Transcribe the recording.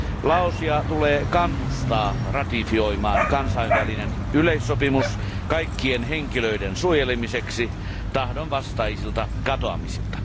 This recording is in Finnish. Laosia tulee kannustaa ratifioimaan kansainvälinen yleissopimus kaikkien henkilöiden suojelemiseksi tahdonvastaisilta katoamisilta.